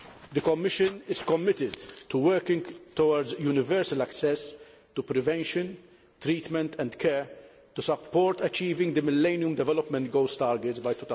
The Commission is committed to working towards universal access to prevention, treatment and care to support achieving the Millennium Development Goals targets by